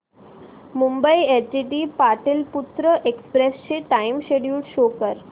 Mumbai LTT Pataliputra express चे time schedule show कर